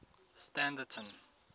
standerton